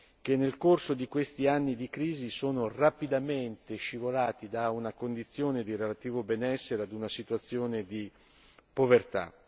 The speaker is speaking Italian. che, nel corso di questi anni di crisi, sono rapidamente scivolate da una condizione di relativo benessere ad una situazione di povertà.